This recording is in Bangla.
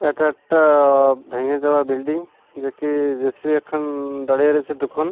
এটা একটা ভেঙে যাওয়া বিল্ডিং যে কে জে_সি_বি একখান দাড়িয়া রইছে দুখোন।